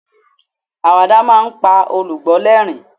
awada ma n pa olùgbọ l'ẹrin